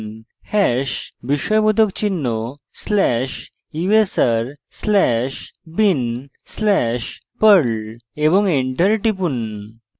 hash বিস্ময়বোধক চিহ্ন slash usr slash bin slash perl এবং enter টিপুন